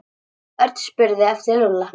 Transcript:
Örn spurði eftir Lúlla.